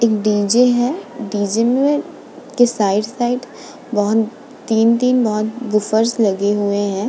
एक डीजे है। डीजे में के साइड साइड बहोत तीन-तीन बहोत वूफर्स लगे हुए हैं।